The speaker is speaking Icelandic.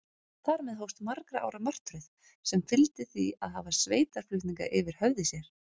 Þar með hófst margra ára martröð, sem fyldi því að hafa sveitarflutninga yfir höfði sér.